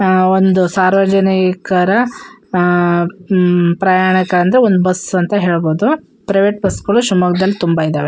ಮೇ ಒಂದು ಸಾರ್ವಜನಿಕರ ಅಅ ಹಮ್ಮ್ ಪ್ರಯಾಣಿಕಾಂತ ಒಂದು ಬಸ್ ಅಂತ ಹೆಲಬೊಡು ಪ್ರೈವೇಟ್ ಬಸ್ ಗಳು ಸಹ ಶಿಮೊಗ್ಗ ದಲ್ಲಿ ತುಂಬ ಇದ್ದವೇ.